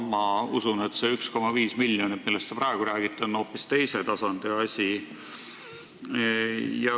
Ma usun, et see 1,5 miljonit, millest te praegu räägite, on hoopis teise tasandi asi.